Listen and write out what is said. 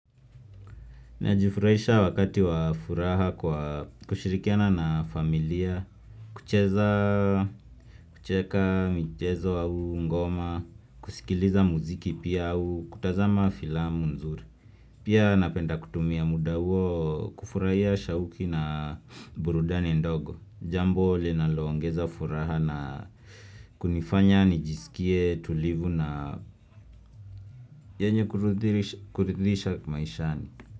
Najifurahisha wakati wa furaha kwa kushirikiana na familia kucheza kucheka michezo au ngoma kusikiliza muziki pia au kutazama filamu nzuri Pia napenda kutumia muda huo kufurahia shauki na burudani ndogo Jambo linaloongeza furaha na kunifanya nijisikie tulivu na yenye kuridhisha maishani.